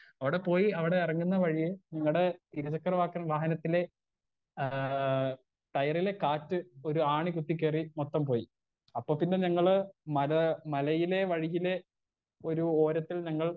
Speaker 1 അവിടെ പോയി അവിടെ എറങ്ങുന്ന വഴിയേ ഞങ്ങടെ ഇരുചക്ര വാഹനത്തിലേ ആ ടയറിലെ കാറ്റ് ഒരു ആണി കുത്തി കേറി മൊത്തം പോയി അപ്പൊ പിന്നെ ഞങ്ങള് മരാ മലയിലെ വഴിയിലേ ഒരു ഓരത്തിൽ ഞങ്ങൾ.